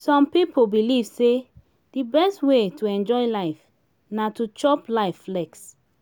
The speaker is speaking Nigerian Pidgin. some pipo belive sey di best wey to enjoy life na to chop life flex